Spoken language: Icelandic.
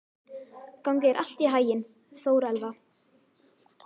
Gangi þér allt í haginn, Þórelfa.